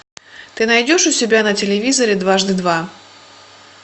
ты найдешь у себя на телевизоре дважды два